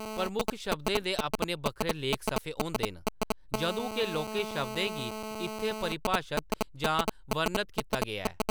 प्रमुख शब्दें दे अपने बक्खरे लेख सफे होंदे न, जदूं के लौह्‌‌‌के शब्दें गी इत्थै परिभाशत जां वर्णत कीता गेआ ऐ।